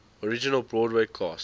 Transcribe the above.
original broadway cast